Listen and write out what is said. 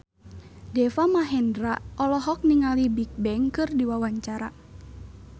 Deva Mahendra olohok ningali Bigbang keur diwawancara